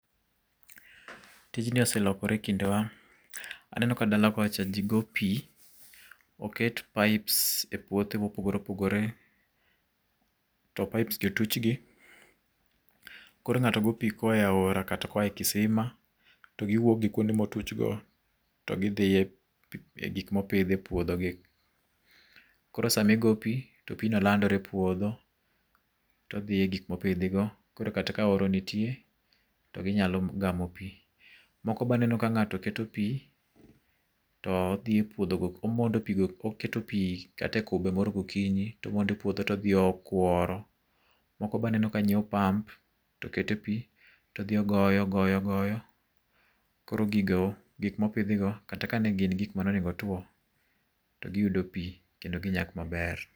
Tijni ose lokore ekindewa, aneno ka dala kocha ji go pi, oket pipes e puothe mopogore opogore, to pipes gi otuch gi. Koro ng'ato goyo pi koa e aora kata koa e kisima to giwuok gi kuonde motuch go, to gidhi e gik mopidh e puodho gi. Koro sama igo pi, to pigno landore e puodho, to odhi e gik mopidhigo. Kata ka oro nitie to ginyalo gamo pi. Moko be aneno ka ng'ato keto pi to odhi epuodh omond oketo pi kata e kube moro gokinyi to omondo e puodho to odhi okuoro. Moko be aneno ka nyiewo pump to okete pi, to odhi ogoyo ogoyo, koro gigo, gik mopidhigo kata kane gin gik monego otuo to giyudo pi kendo ginyak maber.